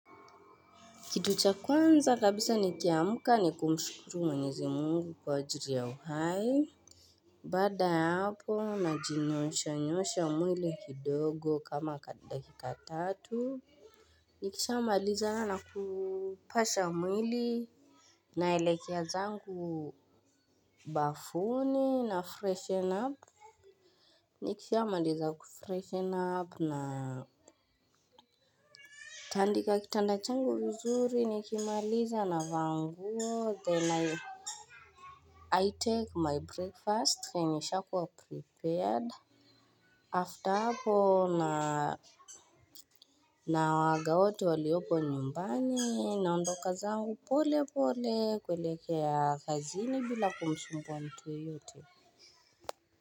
Kitu cha kwanza kabisa nikiamuka ni kumshukuru mwenyezi mungu kwa ajiri ya uhai. Baada ya hapo najinyoosha nyoosha mwili kidogo kama dakika tatu. Nikishamalizana na kupasha mwili naelekea zangu bafuni nafreshen up. Nikishamaliza kufreshen up na natandika kitanda changu vizuri nikimaliza navaa nguo then na I take my breakfast yenye ishakuwa prepared After hapo nawaaga wote waliopo nyumbani naondoka zangu pole pole kuelekea kazini bila kumsumbuwa mtu yoyote.